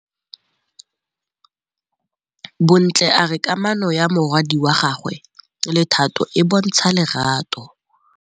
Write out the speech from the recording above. Bontle a re kamanô ya morwadi wa gagwe le Thato e bontsha lerato.